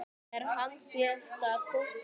Er hann síðasta púslið?